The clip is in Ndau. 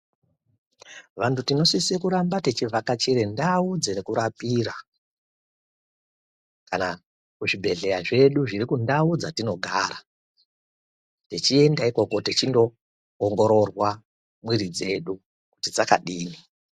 Vantu tinosisa tichivhakachira ndau dzekurapira Kana kuzvibhedhlera zvedu zviri kundau dzatinogara tichienda ikoko tichindoongororwa mwiri dzedu kuti dzakadini.